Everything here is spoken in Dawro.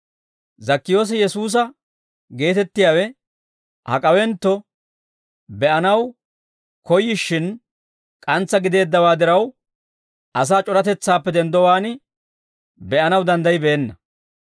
Zakkiyoosi Yesuusa geetettiyaawe hak'awentto be'anaw koyyishshin k'antsa gideeddawaa diraw, asaa c'oratetsaappe denddowaan be'anaw danddayibeenna.